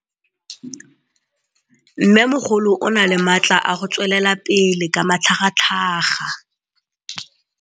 Mmêmogolo o na le matla a go tswelela pele ka matlhagatlhaga.